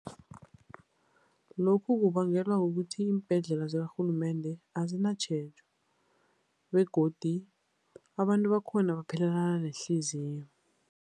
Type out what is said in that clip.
Lokhu kubangelwa kukuthi iimbhedlela zikarhulumende azinatjhejo begodi abantu bakhona baphelelana nehliziyo.